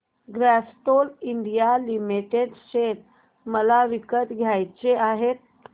Castrol India limited share मला विकत घ्यायचे आहेत